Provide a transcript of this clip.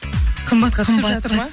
қымбатқа түсіп жатыр ма